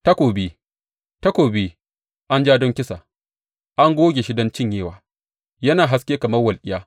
Takobi, takobi, an ja don kisa, an goge don cinyewa yana haske kamar walƙiya!